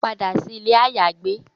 Pada si ile ayagbe